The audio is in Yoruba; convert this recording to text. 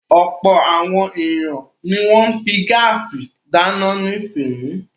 Ọ̀pọ̀ àwọn ènìyàn ni wọ́n ń fi gáásì dáná nísìnyí.